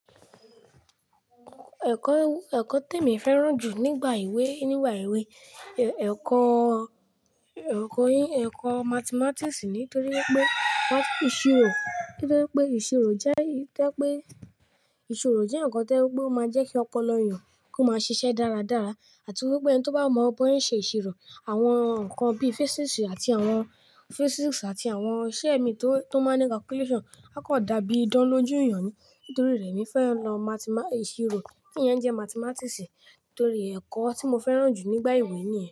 Ẹ̀kọ̀, ẹ̀kọ̀ te mi fẹ́ràn ju nígbà ewé, nígbà ewé, ẹ̀kọ̀, ẹ̀kọ̀, ẹ̀kọ̀ Mathematics nítorí wípé ìṣirò, nítorí pé ìṣirò jẹ́ to je pé ìṣirò jẹ́ nǹkan to je wípé ó máa ń jẹ́kí ọpọlọ èèyàn kó máa ṣiṣẹ́ dáradára àti wípé ẹni tó bá mọ bóyá ń ṣe ìṣirò, àwọn nǹkan bí Physics àti àwọn Physics àti àwọn iṣẹ́ mi tó, tó máa ń ní calculation, a kò dàbí idáń lójú èèyàn ní nítorí rẹ̀ mí fẹ́ràn lọ Mat- ìṣirò, ti iyẹn jẹ́ Mathematics torí ẹ̀kọ̀ tí mo fẹ́ràn ju nígbà ìwé nìyẹn.